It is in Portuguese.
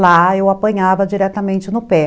lá eu apanhava diretamente no pé.